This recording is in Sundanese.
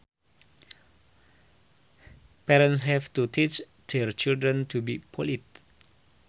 Parents have to teach their children to be polite